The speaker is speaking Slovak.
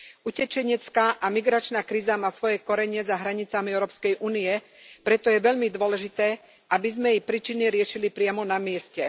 Utečenecká a migračná kríza má svoje korene za hranicami Európskej únie, preto je veľmi dôležité, aby sme jej príčiny riešili priamo na mieste.